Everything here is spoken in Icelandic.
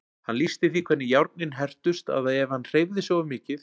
Hann lýsti því hvernig járnin hertust að ef hann hreyfði sig of mikið.